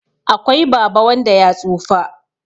akwai Baba wanda ya tsufa